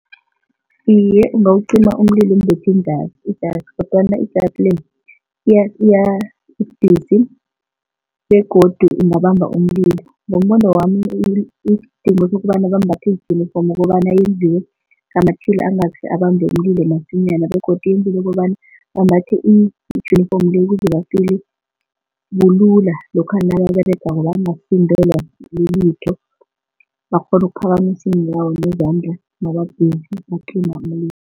Iye, ungawucima umlilo umbethe njalo, ijasi kodwana ijasi le ibudisi begodu ingabamba umlilo. Ngombono wami isidingo sokobana bambathe ijinifomu ukobana yenziwe ngamatjhila angasi abambe umlilo masinyana begodu yenzelwe ukobana bambathe ijinifomu le ukuze ba-feeler bulula lokha nababeregako bangasindelwa lilitho bakghone ukuphakamisa iinyawo nezandla naba-busy bacima umlilo.